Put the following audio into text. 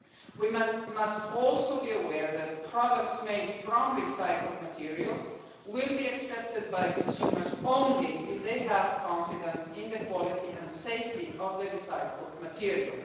We must also be aware that products made from recycled materials will be accepted by consumers only if they have confidence in the quality and safety of the recycled material.